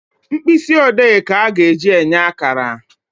Mkpịsị ode ka a ga-eji enye akara